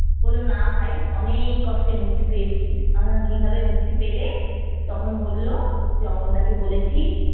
বললো না ভাই অনেক কষ্টে মুক্তি পেয়েছি। আমি বললাম কিভাবে মুক্তি পেলে? তখন বললো যে আমলদাকে বলেছি